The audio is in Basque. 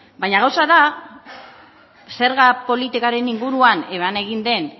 baina gauza da zerga politikaren inguruan eban egin den